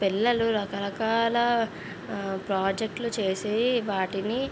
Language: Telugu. పిల్లలు రక రకాల ప్రాజెక్టులు చేసి వాటిని --